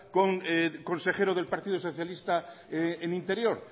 con el consejero del partido socialista en interior